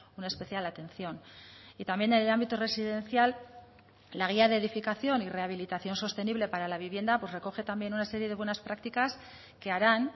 una especial atención y también en el ámbito residencial la guía de edificación y rehabilitación sostenible para la vivienda pues recoge también una serie de buenas prácticas que harán